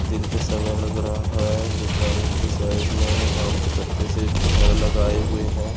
दिन का समय लग रहा है दुकान के साइड मे आम के पत्ते से झालार लगाए हुये है।